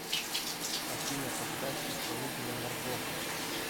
афина поставь исполнителя марго